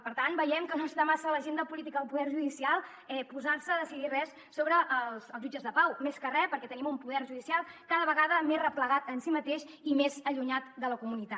per tant veiem que no està massa a l’agenda política del poder judicial posar se a decidir res sobre els jutges de pau més que re perquè tenim un poder judicial cada vegada més replegat en si mateix i més allunyat de la comunitat